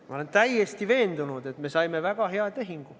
Ma olen täiesti veendunud, et me saime väga hea tehingu.